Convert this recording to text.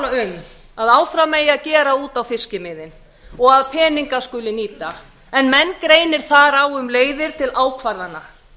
um að áfram eigi að gera út á fiskimiðin og að peninga skuli nýta en menn greinir þar á um leiðir til ákvarðana